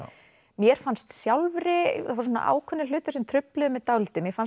mér fannst sjálfri það voru ákveðnir hlutir sem trufluðu mig dálítið mér fannst